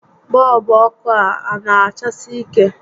Bọọlbụ ọkụ a a na achasi ike?